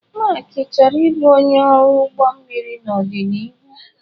Mark chọrọ ịbụ onye ọrụ ụgbọ mmiri n'ọdịnihu.